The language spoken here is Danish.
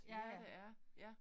Ja det er ja